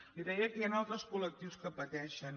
li deia que hi han altres col·lectius que pateixen